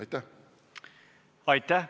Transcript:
Aitäh!